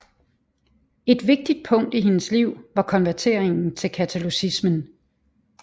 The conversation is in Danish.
Et vigtigt punkt i hendes liv var konverteringen til katolicismen